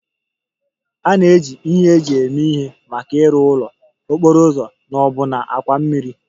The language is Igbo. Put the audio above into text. A na-eji ihe eji eme ihe maka ịrụ ụlọ, okporo ụzọ na ọbụna àkwà mmiri